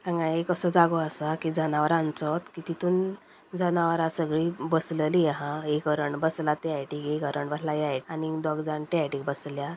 हांगा एक असो जागो आसा की जनावरांचोत की तितुन जनावरा सगळी बसलेली आहा एक हरण बसला त्यासायडीक एक हरण बसला ह्या आनिंग दोघजाण त्या सायडीक बसल्या.